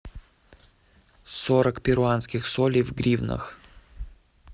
сорок перуанских солей в гривнах